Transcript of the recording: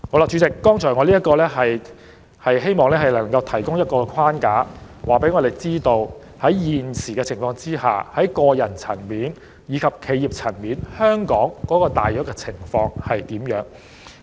主席，我以剛才列舉的資料作為框架，讓大家了解到現時在這一框架下，香港在個人和企業層面的稅務情況大致為何。